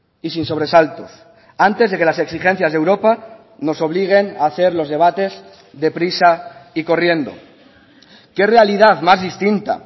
y sin sobresaltos antes de que las exigencias de europa nos obliguen a hacer los debates deprisa y corriendo qué realidad más distinta